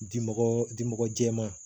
Dimɔgɔ di mɔgɔ jɛman